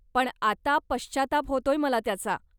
पण, आता पश्चाताप होतोय मला त्याचा.